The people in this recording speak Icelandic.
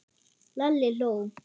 Lalli hló.